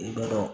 I bɛ dɔn